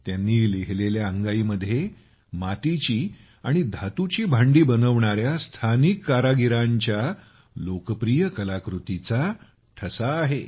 त्यांनी लिहिलेल्या अंगाई मध्ये मातीची आणि धातूची भांडी बनवणाऱ्या स्थानिक कारागिरांच्या लोकप्रिय कलाकृतीचा ठसा आहे